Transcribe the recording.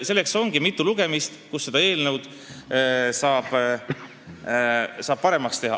Selleks ongi mitu lugemist, et eelnõusid paremaks teha.